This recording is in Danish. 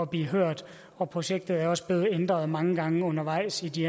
blive hørt og projektet er også blevet ændret mange gange undervejs i de